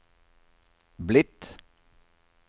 blitt